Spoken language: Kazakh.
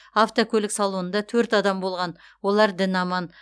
автокөлік салонында төрт адам болған олар дін аман